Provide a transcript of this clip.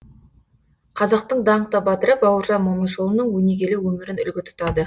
қазақтың даңқты батыры бауыржан момышұлының өнегелі өмірін үлгі тұтады